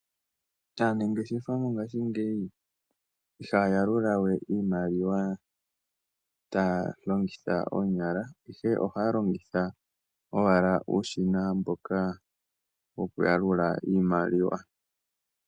Aanangeshefa mongashingeyi ihaya yalula we iimaliwa taya longitha oonyala, ihe ohaya longitha uushina mboka woku yalula iimaliwa.